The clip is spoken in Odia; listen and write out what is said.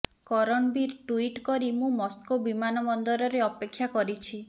କରଣବୀର ଟୁଇଟ୍ କରି ମୁଁ ମସ୍କୋ ବିମାନବନ୍ଦରରେ ଅପେକ୍ଷା କରିଛି